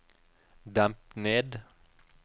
demp ned